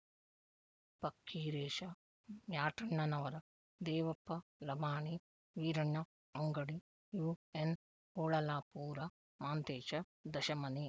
Fakkiresha Myatannanavar Devappa Lamani Veeranna Angadi UN Holalapur Manthesha Dashamani